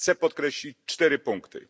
Chcę podkreślić cztery punkty.